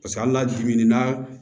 Paseke hali n'a dimin'a